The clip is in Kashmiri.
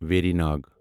ویری ناگ